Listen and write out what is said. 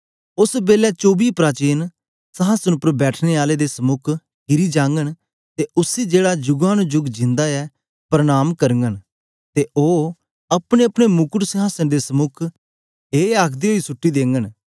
ओस बेलै चौबी प्राचीन संहासन उपर बैठने आले दे समुक किरी जांघन ते उसी जेहड़ा जुगा नु जुग जिंदा ऐ परणाम करघंन ते ओ अपनेअपने मुकट संहासन दे समुक ए आखदे ओई सुट्टी देघंन